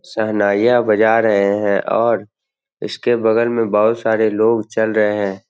सेहनाइयाँ बजा रहे हैं और इसके बगल में बहुत सारे लोग चल रहे है।